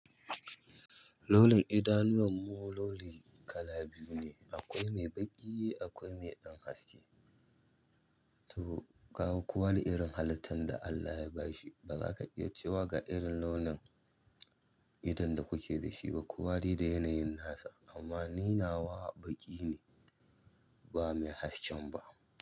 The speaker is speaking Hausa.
Launin idanuwan mu launi kala biyu ne, akwai mai baƙi akwai mai ɗan haske. To kaga kowa da irin halittan da Allah ya bashi ba za ka iya cewa ga irin launin idon da kuke da shi ba. Ku wa dai da yanayin nasa amma ni nawa baƙi ne ba mai haske ba.